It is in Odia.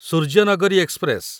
ସୂର୍ଯ୍ୟନଗରୀ ଏକ୍ସପ୍ରେସ